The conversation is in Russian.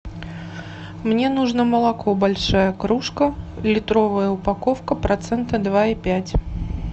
мне нужно молоко большая кружка литровая упаковка процента два и пять